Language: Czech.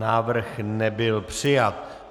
Návrh nebyl přijat.